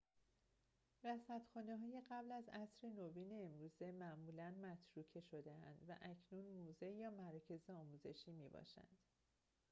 رصدخانه‌های قبل از عصر نوین امروزه معمولاً متروکه شده‌اند و اکنون موزه یا مراکز آموزشی می‌باشند